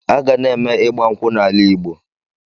A ga na-eme ịgba nkwụ n'ala igbo